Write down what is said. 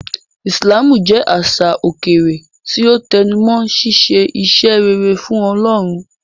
Islamú jẹ̀ àṣà okẹ̀rẹ̀ tí o tẹnumọ̀ síṣẹ̀ ìṣẹ́ rẹ̀rẹ̀ fún Ọlọ́run.